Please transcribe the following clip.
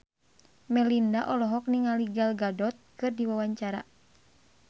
Melinda olohok ningali Gal Gadot keur diwawancara